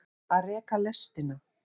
Að reka lestina